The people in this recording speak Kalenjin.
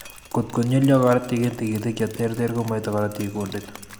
Kotko nywelyo korotik eng' tigitik cheterter komaite korotik kundit